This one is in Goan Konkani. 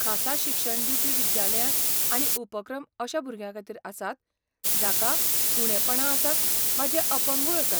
खासा शिक्षण दिवपी विद्यालयां आनी उपक्रम अश्या भुरग्यांखातीर आसात जाकां उणेंपणां आसात वा जे अपंगूळ आसात.